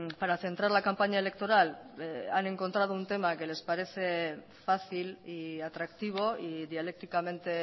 para centrar la campaña electoral han encontrado un tema que les parece fácil y atractivo y dialécticamente